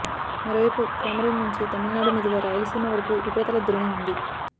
మరోవైపు కోమరిన్ నుంచి తమిళనాడు మీదుగా రాయలసీమ వరకు ఉపరితల ద్రోణి ఉంది